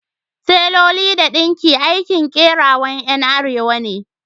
Taloli da danki aikin kerawan Yan arewa ne.